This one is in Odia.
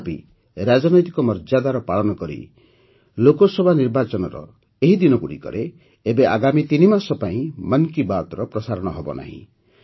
ତଥାପି ରାଜନୈତିକ ମର୍ଯ୍ୟାଦାର ପାଳନ କରି ଲୋକସଭା ନିର୍ବାଚନର ଏହି ଦିନଗୁଡ଼ିକରେ ଏବେ ଆଗାମୀ ତିନିମାସ ପାଇଁ ମନ୍ କି ବାତ୍ର ପ୍ରସାରଣ ହେବନାହିଁ